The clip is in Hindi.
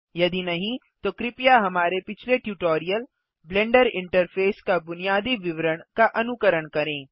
यदि नहीं तो कृपया हमारे पिछले ट्यूटोरियल ब्लेंडर इंटरफेस का बुनियादी विवरण का अनुकरण करें